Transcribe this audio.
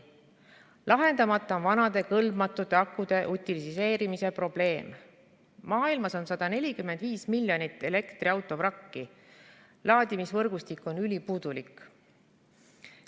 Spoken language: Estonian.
Lahendamata on vanade kõlbmatute akude utiliseerimise probleem, maailmas on 145 miljonit elektriautovrakki, laadimisvõrgustik on ülipuudulik.